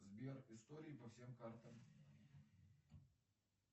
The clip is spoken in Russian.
сбер истории по всем картам